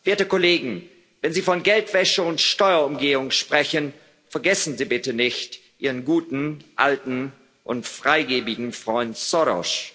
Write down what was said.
Werte Kollegen, wenn Sie von Geldwäsche und Steuerumgehung sprechen, vergessen Sie bitte nicht ihren guten alten und freigiebigen Freund Soros!